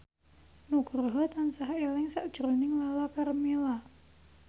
Nugroho tansah eling sakjroning Lala Karmela